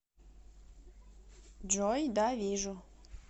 джой да вижу